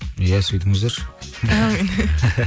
иә сөйтіңіздерші әумин